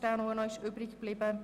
Dieser ist noch übrig geblieben.